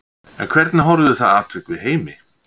En hvernig horfði það atvik við Heimi?